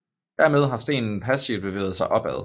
Dermed har stenen passivt bevæget sig opad